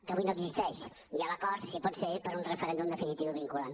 que avui no existeix i a l’acord si pot ser per un referèndum definitiu i vinculant